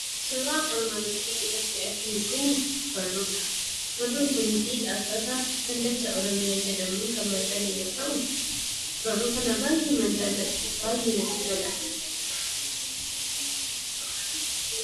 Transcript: Suurraan armaan gaditti argamu kun barruudha. Barruun kunis dhaabbata kallacha oromiyaa jedhamuun kan maxxane yoo ta'u, barruu kana baay'een jaalladha natti tolas.